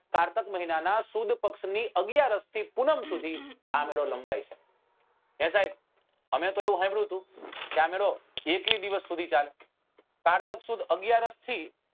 કારતક મહિના ના સુદ પક્ષ ની અગિયારસ થી પૂનમ સુધી આં મેળો લંબાય છે એ સાહેબ અમે તો એવું સાંભળ્યું હતું કે આ મેળો એકવીસ દિવસ સુધી ચાલે કારતક સુદ અગિયારસ થી